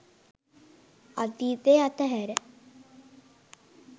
අතීතය අතහැර